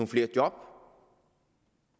flere job